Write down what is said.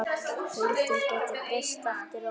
Deildin gæti breyst eftir áramót.